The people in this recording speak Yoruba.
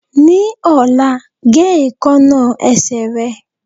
Ní ọ̀la, ge èékánná ẹsẹ̀ rẹ